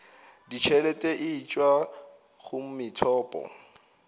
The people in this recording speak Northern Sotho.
ditšhelete e tšwa go methopo